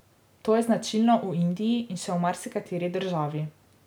To je značilno v Indiji in še v marsikateri državi.